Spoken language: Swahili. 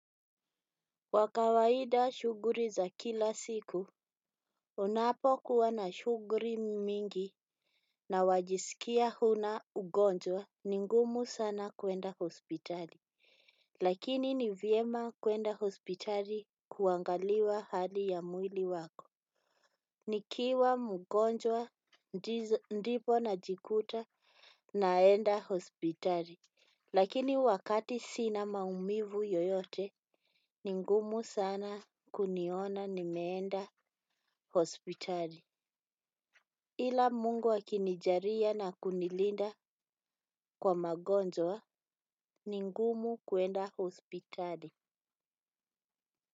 Kwa kawaida shughuli za kila siku unapokuwa na shughuli mingi na wajisikia huna ugonjwa ni ngumu sana kuenda hospitali. Lakini ni vyema kwenda hospitali kuangaliwa hali ya mwili wako. Nikiwa mgonjwa ndipo najikuta naenda hospitali. Lakini wakati sina maumivu yoyote ni ngumu sana kuniona nimeenda hospitali. Ila mungu akinijaalia na kunilinda kwa magonjwa ni ngumu kwenda hospitari.